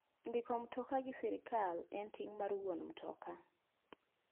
Ndiko mtoka gi sirkal en ting' mar wuon mtoka.